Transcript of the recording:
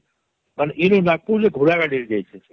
ମାନେ ଇ ଯେ ନାଗପୁର ଇ ଘୋଡାରେ ଯାଇଛେ ଛେ